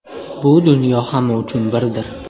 Bu dunyo hamma uchun birdir.